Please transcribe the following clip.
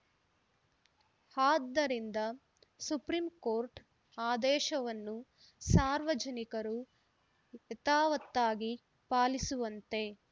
ಆದ್ದರಿಂದ ಸುಪ್ರೀಕೋರ್ಟ್‌ ಆದೇಶವನ್ನು ಸಾರ್ವಜನಿಕರು ಯಾವತ್ತಾಗಿ ಪಾಲಿಸುವಂತೆ